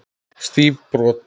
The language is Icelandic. Stíf brot.